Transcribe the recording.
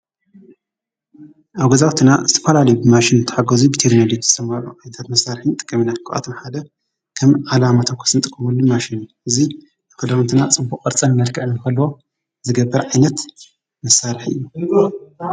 ኣገዛውትና እቲጳላሊ ብማሽን ተሓጐዙ ብቴግኔልትት ዝተማሩ ኣይታት መሣርሒን ጥቀምና ክዓትም ሓለ ከም ዓላማታኾስንጥ ኽቡሉማሽን እዙይ ኣፈዳሙንትና ጽቡቕ ቕርጸን መድክዕን ፈል ዝገብር ኣይነት መሣርሒ እዩ።